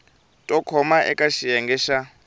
to koma eka xiyenge xa